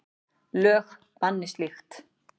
Lög banni slíkt.